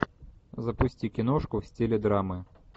запусти киношку в стиле драмы